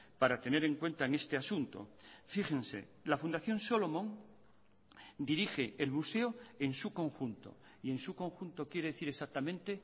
para tener en cuenta en este asunto fíjense la fundación solomon dirige el museo en su conjunto y en su conjunto quiere decir exactamente